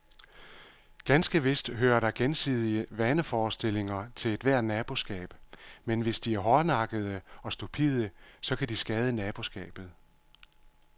Ganske vist hører der gensidige vaneforestillinger til ethvert naboskab, men hvis de er hårdnakkede og stupide, så kan de skade naboskabet.